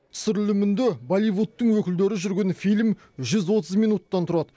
түсірілімінде болливудтың өкілдері жүрген фильм жүз отыз минуттан тұрады